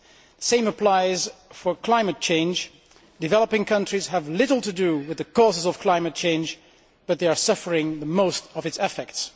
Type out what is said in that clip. The same applies to climate change developing countries have little to do with the causes of climate change, but they are suffering the most from its effects.